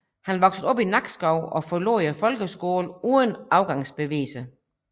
Han voksede op i Nakskov og forlod folkeskolen uden afgangsbeviser